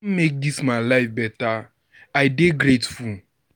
make dis my life beta, I dey grateful.